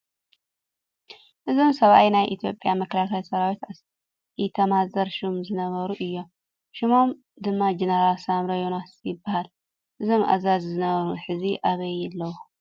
እዞም ሰብኣይ ናይ ኢትዮጵያ መከላከያ ሰራዊት ኢታማዦር ሹም ዝነበሩ እዮም፡፡ ሽሞም ድማ ጀነራል ሳሞራ የኑስ ይበሃል፡፡ እዞም ኣዛዚ ነበር ሕዚ ኣበይ ኣለዉ?